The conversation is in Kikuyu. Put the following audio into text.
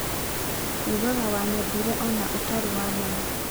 Ugaga wanyendire ona ũtarĩ wanyona.